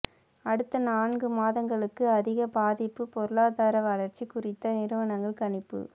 அடுத்த நான்கு மாதங்களுக்கு அதிக பாதிப்பு பொருளாதார வளர்ச்சி குறித்த நிறுவனங்கள் கணிப்பு